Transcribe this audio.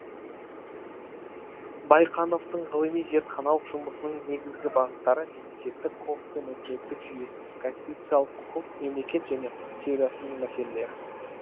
байқановтың ғылыми зертханалық жұмысының негізгі бағыттары мемлекеттік құқық пен өкілеттілік жүйесі конституциялық құқық мемлекет және құқық теориясының мәселелері